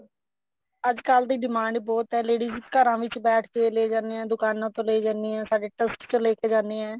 ਅੱਜਕਲ ਦੀ demand ਬਹੁਤ ਹੈ ladies ਘਰਾਂ ਵਿੱਚ ਬੈਠ ਕੇ ਲੈ ਜਾਂਦੇ ਆ ਦੁਕਾਨਾ ਚੋਂ ਲੈ ਜਾਂਦੇ ਆ ਸਾਡੇ trust ਚੋਂ ਲੈ ਜਾਂਦੇ ਆ